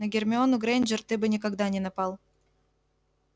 на гермиону грэйнджер ты бы никогда не напал